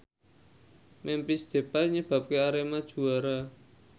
Memphis Depay nyebabke Arema juara